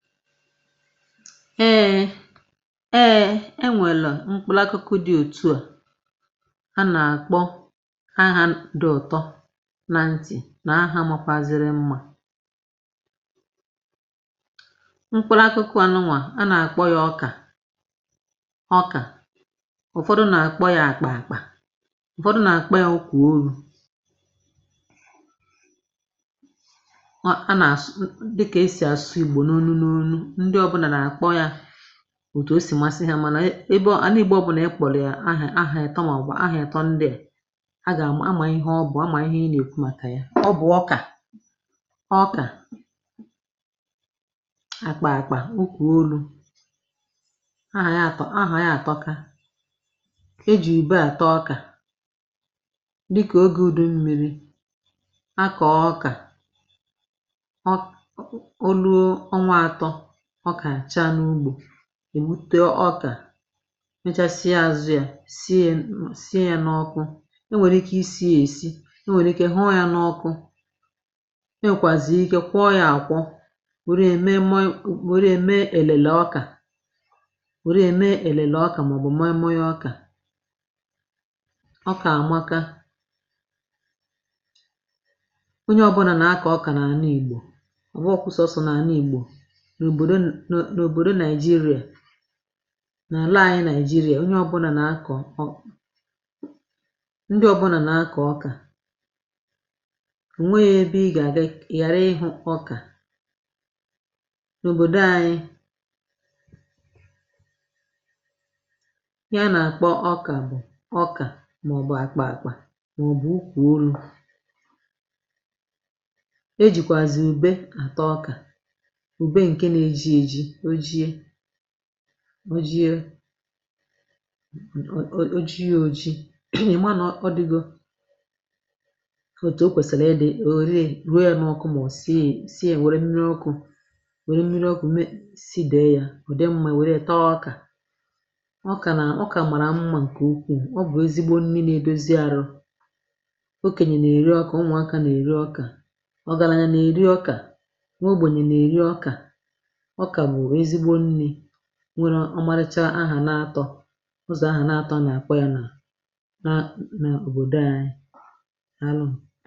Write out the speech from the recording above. Eeeeee eee e nwèlụ mkpụlakụkụ dị òtu à, a nà-àkpọ aha dị ụtọ na ntì nà ahà màkwaziri mmȧ. Mkpụlakụkụ a nụnwà a nà-àkpọ ya ọkà ọkà, ụ̀fọdụ nà-àkpọ ya àkpà àkpà, ụ̀fọdụ nà-àkpọ ya ukwùoru. A a nà-asụ dịka e sì asụ Igbo n'onu n'onu, ndị ọbụna na-akpọ ya otu o si masị hȧ mànà ebe anà Igbo ọbụnà ị kpọ̀rọ̀ yà ahà ahà ịtọ màọ̀bụ̀ ahà ịtọ ndịà à mà ihe ọ bụ̀ a mà ihe i nà ihe ị nà èku̇ màkà ya. Ọ bụ̀ ọkà ọkà akpà akpà ukwùoru. Ahà ya àtọ̀ ahà ya àtọka. E jì ube àta ọkà, dịkà oge ùdu mmi̇ri a kọ̀ọ ọkà um o luo ọnwa atọ, ọka achaa n'ugbo, è bupute ọkà mechasịa azụ̇ ya sie ya nọ sie ya n'ọkụ, o nwèrè ike isi ya esi, o nwere ike hụọ ya n'ọkụ, e nwèkwàzì ike kwụọ ya àkwọ e were ya mee mọị mee elele ọkà ò ruo è mee elele ọkà màọbụ̀ mọịmọị ọkà. Ọkà àmaka, onye ọbụna na-akọ ọka n’àna Igbo. Ọbụọkwa sọsọ n'ana Igbo, n'obodo Naịjirịa, n'ana ànyị Naịjirịa onye ọbụnà nà-akọ ọ ndị ọbụnà nà-akọ ọkà ò nweghi ebe ị gà-àgà ị ghàra ịhụ ọkà. N’obodo anyị ihe a nà-àkpọ ọkà bụ̀ ọkà màọ̀bụ̀ àkpà àkpà mà ọ̀ bụ̀ ukworu̇ e jìkwàzì ùbe àta ọkà. Ube nke na-eji eji, o jiė o ji o jiė oji ịma nà ọ dịgo òtù o kwèsịrị ịdị, i were ya ruo ya n’ọkụ màọ sie ò si sie wère mmiri ọkụ̇ nwère mmiri ọkụ̀ mee sidee ya ò dị mmȧ i wère ya taa ọkà. Ọkà nà ọkà màrà mmȧ ǹkè ukwuù, ọ bụ̀ ezigbo nni na-edozi are, okenyè na-èri ọkà ụmụ̀aka nà-èri ọkà, ọgarȧnya nà-èri ọkà nwaogbenye nà-èri ọkà. Ọka wụ ezigbo nni nwere ọmarịcha ahà na-atọ̀, ụzọ̀ ahà na-atọ̀ a nà-àkpọ ya nà a nà òbòdo ȧnyị̇ daalụnụ